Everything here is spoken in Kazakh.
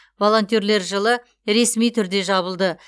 волонтерлер жылы ресми түрде жабылды